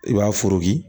I b'a foroki